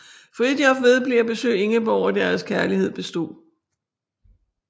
Fridtjof vedblev at besøge Ingeborg og deres kærlighed bestod